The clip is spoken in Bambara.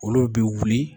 Olu bɛ wuli